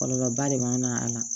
Kɔlɔlɔba de b'a na a la